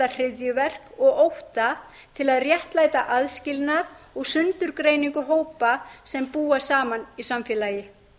hryðjuverk og ótta til að réttlæta aðskilnað og sundurgreiningu hópa sem búa saman í samfélagi